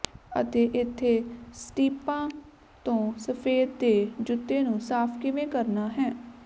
ਅਤੇ ਇੱਥੇ ਸਟੀਪਾਂ ਤੋਂ ਸਫ਼ੈਦ ਦੇ ਜੁੱਤੇ ਨੂੰ ਸਾਫ ਕਿਵੇਂ ਕਰਨਾ ਹੈ